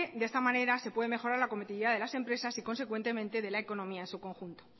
de esta manera se puede mejorar la competitividad de las empresas y consecuentemente de la economía en su conjunto